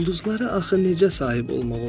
Ulduzlara axı necə sahib olmaq olar?